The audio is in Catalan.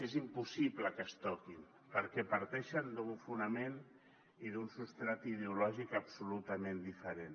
és impossible que es toquin perquè parteixen d’un fonament i d’un substrat ideològic absolutament diferent